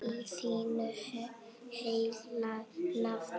Í þínu heilaga nafni.